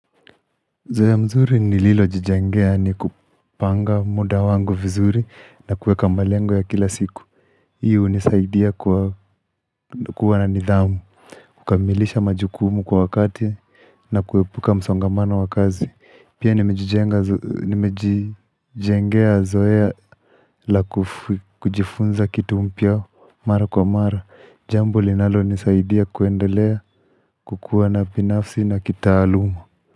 Zoea mzuri nililo jijengea ni kupanga muda wangu vizuri na kuweka malengo ya kila siku Hii unisaidia kuwa na nidhamu kukamilisha majukumu kwa wakati na kuepuka msongamano wa kazi Pia nimejijengea zoea la kujifunza kitu mpya mara kwa mara Jambo linalo nisaidia kuendelea kukuwa na binafsi na kitaaluma.